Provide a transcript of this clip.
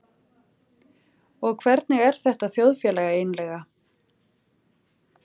Og hvernig er þetta þjóðfélag eiginlega?